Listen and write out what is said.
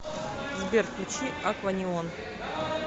сбер включи акванеон